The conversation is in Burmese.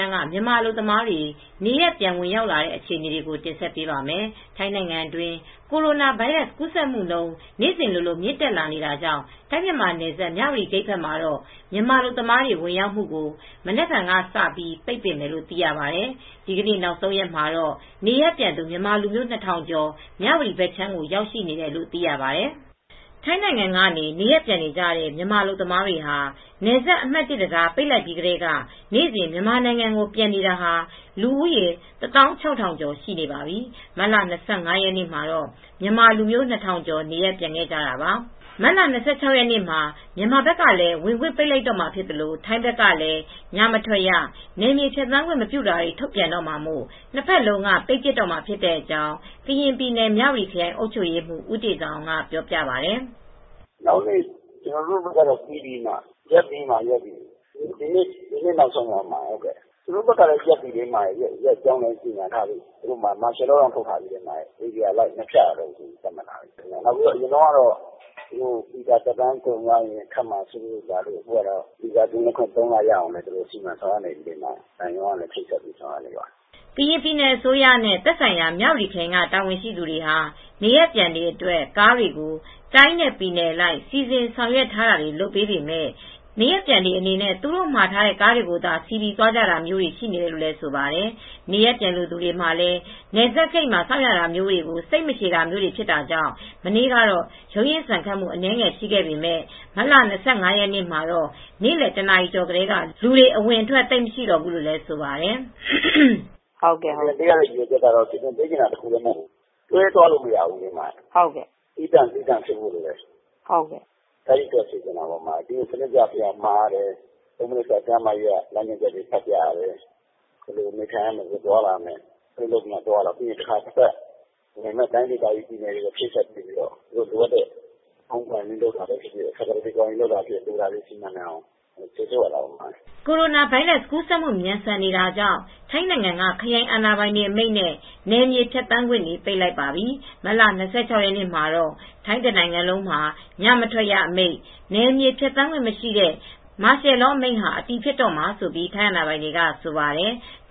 မ်းက မြန်မာအလုပ်သမားတွေ နေရပ်ပြန်ဝင်ရောက်တဲ့အခြေအနေကို တင်ဆက်ပေးပါမယ်။ ထိုင်းနိုင်ငံတွင်း ကိုရိုနာဗိုင်းရပ်ကူးစက်မှုနှုန်း နေ့စဉ်လိုလိုမြင့်တက်လာတာကြောင့် ထိုင်း-မြန်မာနယ်စပ် မြဝတီဂိတ်ဘက်မှာတော့ မြန်မာအလုပ်သမားတွေ ဝင်ရောက်မှုကို မနက်ဖြန်ကစပြီး ပိတ်ပင်မယ်လို့ သိရပါတယ်။ ဒီနေ့ နောက်ဆုံးရက်မှာတော့ နေရပ်ပြန်သူ မြန်မာလူမျိုး ၂,၀၀၀ကျော် မြဝတီဘက်ခြမ်းကို ရောက်ရှိတယ်လို့ သိရပါတယ်။ ထိုင်းအခြေစိုက်သတင်းထောက် မအေးအေးမာသတင်းပေးပို့ထားတာပါ။ ထိုင်းနိုင်ငံကနေ နေရပ်ပြန်နေကြတဲ့ မြန်မာအလုပ်သမားတွေဟာ နယ်စပ်အမှတ် တံတားပိတ်လိုက်ပြီးကတည်းက နေ့စဉ် မြန်မာနိုင်ငံကိုပြန်နေတာဟာ လူဦးရေ ၁၆,၀၀၀ ကျော်ရှိနေပါပြီ။ မတ်လ၂၅ ရက်နေ့မှာ မြန်မာလူမျိုး ၂,၀၀၀ ကျော် နေရပ်ပြန်ခဲ့ကြတာပါ။ မတ်လ၂၆ ရက်နေ့မှာ မြန်မာဘက်ကလည်း ဝင်ခွင့်ပိတ်လိုက်တော့မှာဖြစ်သလို ထိုင်းဘက်ကလည်း ညမထွက်ရ နယ်မြေဖြတ်သန်းမပြုတာတွေ ထုတ်ပြန်တော့မှာမို့နှစ်ဘက်လုံးက ပိတ်ပစ်တော့မှာဖြစ်တဲ့အကြောင်း ကရင်ပြည်နယ် မြဝတီခရိုင်အုပ်ချုပ်ရေးမှူး ဦးတေဇာအောင်က ပြောပြပါတယ်။ "နောက်နေ့ ကျနော်တို့ဘက်က ပိတ်ပြီ၊ ရပ်ပြီ။ ဒီနေ့ နောက်ဆုံးပဲ။ သူတို့ဘက်ကလည်း ရပ်ပြီ။ သူတို့ ထိုင်းဘက်ကလည်း ပိတ်ပြီ။ မာရှယ်လောတောင် ထုတ်ထားပြီ။ ဧရီယာအလိုက် ဖြတ်သန်းခွင့် မလုပ်ရတော့ဘူးလို့ ပြောထားတာ အရင်ကတော့ ဗီဇာသက်တမ်းကုန်မှာစိုးရိမ်လို့ ထပ်မံတိုးဖို့ လာကြတာ အခုတော့ အဲဒီလိုမဟုတ်တော့ဘူး။ ဗီဇာသက်တမ်းကင်းလွှတ်ခွင့် ၃ လ ထပ်တိုးရအောင် မြန်မာသံရုံးက ချိတ်ဆက်စီစဉ်နေပါတယ်။" ကရင်ပြည်နယ်အစိုးရနဲ့ သက်ဆိုင်ရာမြဝတီခရိုင်က တာဝန်ရှိသူတွေဟာ နေရပ်ပြန်တွေအတွက်ကားတွေကို တိုင်းနဲပြည်နယ်အလိုက် စီစဉ်ဆောင်ရွက်ထားတာတွေ လုပ်ပေးပေမဲ့ နေရပ်ပြန်တွေအနေနဲ့ သူတို့မှာထားတဲ့ကားတွေကိုသာ စီးပြီးသွားကြတာမျိုးတွေ ရှိနေတယ်လို့လည်း ဆိုပါတယ်။ နေရပ်ပြန်လို့သူတွေမှာလည်း နယ်စပ်ဂိတ်မှာ စောင့်ရတာတွေကို စိတ်မရှည်တာမျိုးတွေဖြစ်တာကြောင့် မနေ့ကတော့ ရုန်းရင်းဆန်ခတ်မှုတွေ အနည်းငယ်ရှိပမဲ့ မတ်လ ၂၅ ရက်နေမှာတော့ နေ့လည် ၁ နာရီကျော်ကတည်းက လူတွေအဝင်အထွက်သိပ် မရှိတော့ဘူးလို့ ဆိုပါတယ်။ "စီစဉ်ပေးရတဲ့ ရည်ရွယ်ချက်က စီစဉ်ပေးတာ တခုတည်း မဟုတ်ဘူး။ ခရီးသွားဖို့ပဲ မဟုတ်ဘူး။ တွဲသွားလို့မရဘူး။ သီးသန့်၊ သီးသန့်ဖြစ်အောင်စီစဉ်နေတာပါ။ စနစ်တကျမှ ရတယ်။ ကျန်းမာရေးလမ်းညွှန်ချက်တွေ ဖတ်ပြရတယ်။ ဘယ်လို နေထိုင်ရမယ်၊ ဘယ်လို သွားရမယ်။ တိုင်းဒေသကြီး ပြည်နယ်မှာ ချိတ်ဆက်ပြီး လိုအပ်တဲ့ Home Quarantine ပဲဖြစ်ဖြစ်၊ Facilities Quarantine ဖြစ်ဖြစ် စီစဉ်နိုင်အောင်စေလွှတ်ရတာပေါ့။" ကိုရိုနာဗိုင်းရပ်စ်ကူးစက်မှု မြန်ဆန်နေတာကြောင့် ထိုင်းနို်င်ငံက ခရိုင်အာဏာပိုင်တွေ အမိန့်နဲ့ နယ်မြေဖြတ်သန်းခွင့်တွေကို ပိတ်ပစ်လိုက်ပြီး မတ်လ ၂၆ ရက်နေ့မှာတော့ ထိုင်းတနိုင်ငံလုံးမှာ ညမထွက်ရ အမိန့် နယ်မြေဖြတ်သန်းခွင့်မရှိတဲ့ မာရှယ်လောအမိန့်ဟာ အတည်ဖြစ်တော့မယ်လို့ ထိုင်းအာဏာပိုင်တွေက ဆိုပါတယ်။